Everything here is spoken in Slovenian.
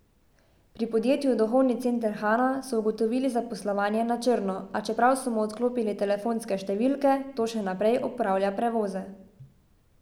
Pri podjetju Duhovni center Hana so ugotovili zaposlovanje na črno, a čeprav so mu odklopili telefonske številke, to še naprej opravlja prevoze.